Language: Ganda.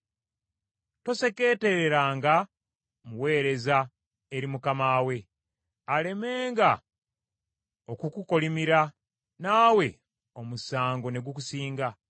Tosekeetereranga muweereza eri mukama we, alemenga okukukolimira, naawe omusango ne gukusinga.